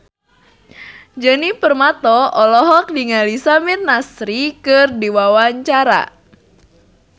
Djoni Permato olohok ningali Samir Nasri keur diwawancara